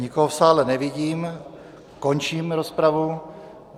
Nikoho v sále nevidím, končím rozpravu.